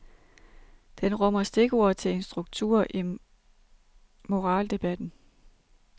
Den rummer stikord til en struktur i moraldebatten.